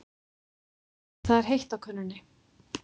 Það er heitt á könnunni.